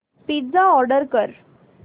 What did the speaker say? pizza order कर